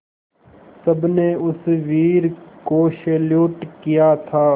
सबने उस वीर को सैल्यूट किया था